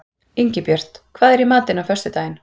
Ingibjört, hvað er í matinn á föstudaginn?